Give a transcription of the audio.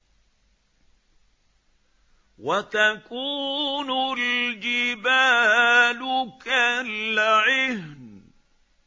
وَتَكُونُ الْجِبَالُ كَالْعِهْنِ